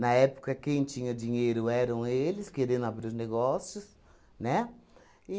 Na época, quem tinha dinheiro eram eles, querendo abrir os negócios, né?